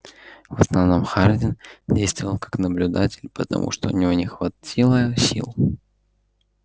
в основном хардин действовал как наблюдатель потому что у него не хватило